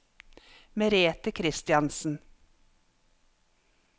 Merethe Kristiansen